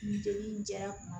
Nin joli in cayara kuma min